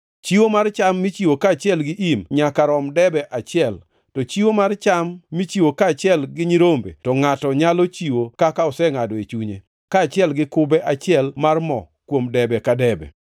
Chiwo mar cham michiwo kaachiel gi im nyaka rom debe achiel, to chiwo mar cham michiwo kaachiel gi nyirombe to ngʼato nyalo chiwo kaka osengʼado e chunye, kaachiel gi kube achiel mar mo kuom debe ka debe.